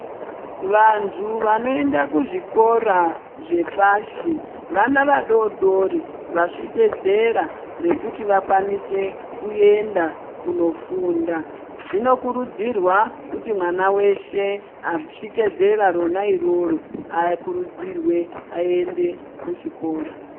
Vantu vanoenda kuzvikora zvepashi vana vadodori vasvitse zera rekuti wakwanise kuenda kunofunda. Zvinokurudzirwa kuti mwana veshe asvike zera ronairoro akurudzirwe aende kuchikora.